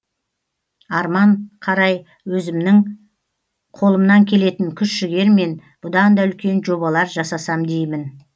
арман қарай өзімнің қолымнан келетін күш жігермен бұдан да үлкен жобалар жасасам дейм